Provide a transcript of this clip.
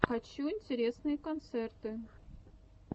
хочу интересные концерты